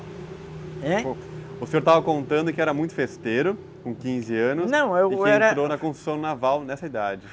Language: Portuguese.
Em? O senhor estava contando que era muito festeiro, não com quinze anos, e que entrou na construção naval nessa idade.